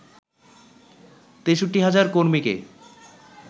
৬৩,০০০ কর্মীকে